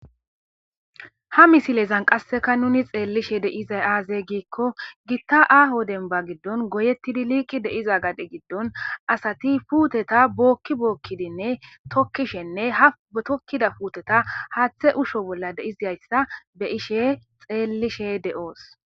Ha misilezan nun qaseakka xellishe de'izay aaze gikko gista ahho gadde giddon goyettidi liqidi diza gadde giddon asati puuteta booki bookidinne tookishenne ha tookida putteta haaththa uushisho bolla de'izayssa xellishe de'ios